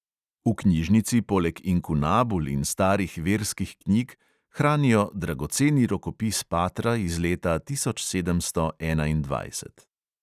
V knjižnici poleg inkunabul in starih verskih knjig hranijo dragoceni rokopis patra iz leta tisoč sedemsto enaindvajset.